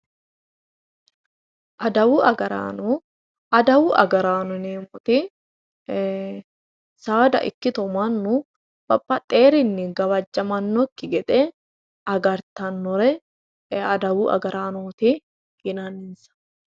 Adawu agarraano yineemmoti saada ikkitto mannu baxeworinni gawajamanokki gede agartanore adawu agarraanoti yinnanni.